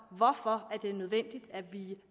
hvorfor det er nødvendigt at vi